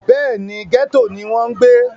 bẹ́ẹ̀ni, gẹ́tò ni wọ́n ń gbé